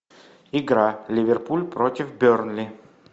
игра ливерпуль против бернли